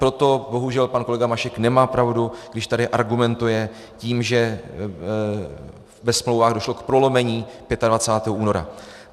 Proto bohužel pan kolega Mašek nemá pravdu, když tady argumentuje tím, že ve smlouvách došlo k prolomení 25. února.